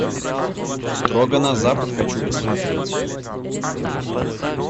строго на запад хочу посмотреть